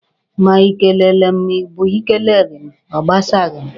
Ma i kelele m ma ọ bụ i keleghi m, ọ gbasaghi m.